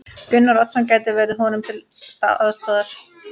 Gunnar Oddsson gæti verið honum til aðstoðar.